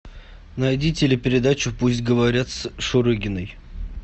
найди телепередачу пусть говорят с шурыгиной